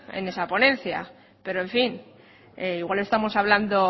en esa ponencia pero en fin igual estamos hablando